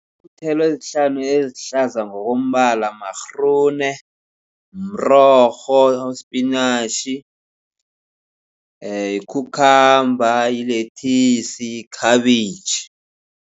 Iinthelo ezihlanu ezihlaza ngokombala ma-groene, mrorho, sipinatjhi, ee yi-cucumber, yilethisi, yikhabitjhi.